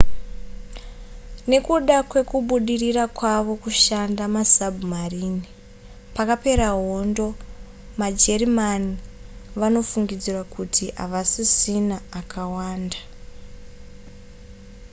nekuda kwekubudirira kwavo kushandisa masabhumarini pakapera hondo majerimani vanofungidzirwa kuti havasisina akawanda